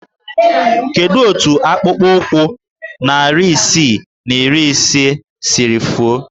Kedu otu akpụkpọụkwụ narị isii na iri ise siri fuo?